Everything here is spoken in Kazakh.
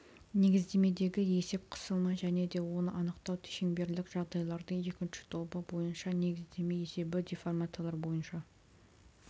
негіздемедегі есеп қысымы және де оны анықтау шеңберлік жағдайлардың екінші тобы бойынша негіздеме есебі деформациялар бойынша